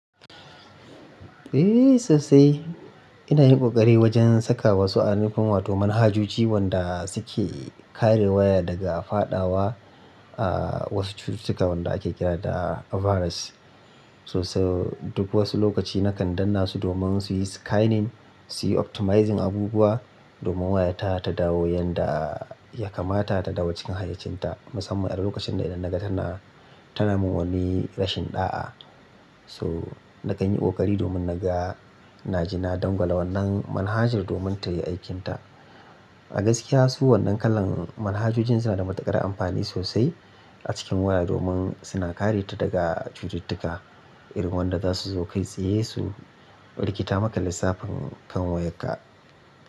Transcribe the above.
Eh, sasai. Ina yin ƙoƙari wajen saka wasu a nufin wah-toman hajujuci wanda suke kare waya daga fadawa, aah, wasu cututtuka wanda ake kira da virus. So so duk wasu lokaci nakan danna su domin su yi scanning, su yi optimizing abubuwa domin wayata ta dawo yanda ya kamata ta dawo cikin hayyacinta. Musamman a lokacin da idan naga tana, tana mun wani rashin ɗa'a. To nakan yi ƙoƙari domin naga, na je na dangwala wannan manhajar domin tayi aikinta. A gaskiya su wannan kalan manhajojin suna da matuƙar amfani sosai a cikin waya domin suna kare ta daga cututtuka irin wanda zasu zo kai tsaye su rikita maka lissafin kan wayarka.